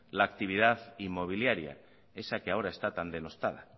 la actividad inmobiliaria esa que ahora está tan denostada